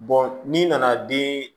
n'i nana den